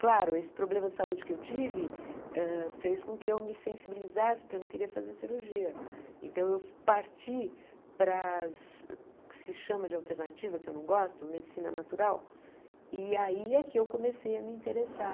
claro, esse problema de saúde que eu tive hã fez com que eu me sensibilizasse porque eu não queria fazer cirurgia então eu parti para as o que se chama de alternativa que eu não gosto, medicina natural e aí é que eu comecei a me interessar